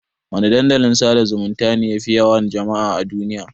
Wana Dandalin sada zumunta ne yafi yawan jama'a a duniya?